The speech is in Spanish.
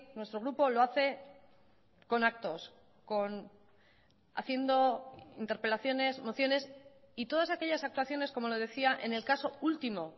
nuestro grupo lo hace con actos con haciendo interpelaciones mociones y todas aquellas actuaciones como le decía en el caso último